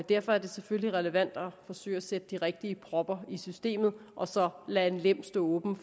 derfor er det selvfølgelig relevant at forsøge at sætte de rigtige propper i systemet og så lade en lem stå åben